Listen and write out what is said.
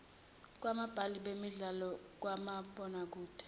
kwababhali bemidlalo kamabonakede